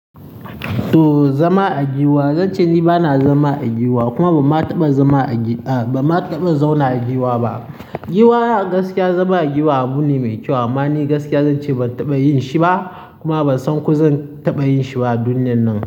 To zama a gwiwa, zance ni bana zama a gwiwa kuma ba ma taɓa zama a gi-- a ba ma taɓa zauna a gwiwa ba. Gwiwa gaskiya zama a gwiwa abu ne mai kyau amma ni gaskiya zance ban taɓa yin shi ba kuma ban san ko zan taɓa yin shi ba duniyan nan.